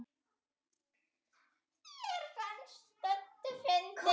Þetta fannst Döddu fyndið.